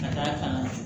Ka d'a kan